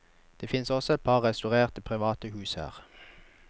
Det finnes også et par restaurerte private hus her.